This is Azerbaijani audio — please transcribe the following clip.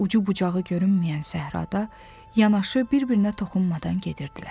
Ucu bucağı görünməyən səhrada yanaşı, bir-birinə toxunmadan gedirdilər.